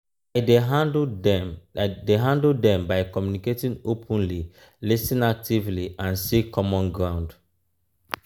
i dey handle dem dey handle dem by communicating openly lis ten actively and seek common ground.